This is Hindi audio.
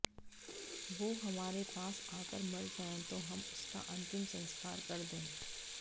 वो हमारे पास आकर मर जाए तो हम उसका अंतिम संस्कार कर दें